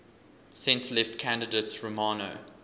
centre left candidate romano